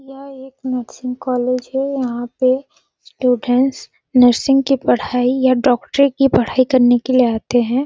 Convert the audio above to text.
यह एक nursing college है यहाँ पे स्टूडेंट्स नर्सिंग की पढ़ाई या डॉक्टरी की पढ़ाई करने के लिए आते हैं।